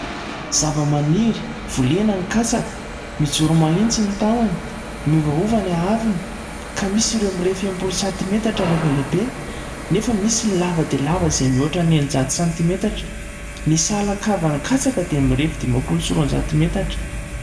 Zavamaniry volena ny katsaka, mijoro mahitsy ny tahony, miovaova ny haavony ka misy ireo mirefy enim-polo santimetatra rehefa lehibe nefa misy ny lava dia lava izay mihoatra ny enin-jato santimetatra ny sahalakavan'ny katsaka dia mirefy dimampolo sy roan- jato metatra.